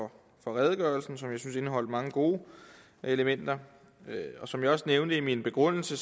og for redegørelsen som jeg synes indeholdt mange gode elementer som jeg også nævnte i min begrundelse